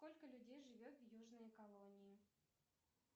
сколько людей живет в южной колонии